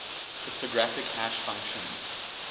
cryptographic hash functions